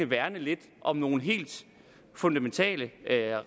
værne lidt om nogle helt fundamentale